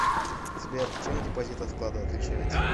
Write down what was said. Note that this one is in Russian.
сбер чем депозит от вклада отличается